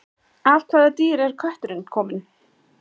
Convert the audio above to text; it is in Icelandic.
af hvaða dýri er kötturinn kominn